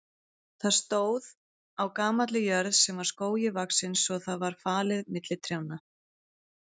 Það stóð á gamalli jörð sem var skógi vaxin svo það var falið milli trjánna.